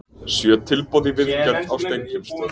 Sjö tilboð í viðgerð á Steingrímsstöð